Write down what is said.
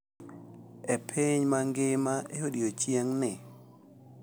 E piny mangima e odiechieng’ni.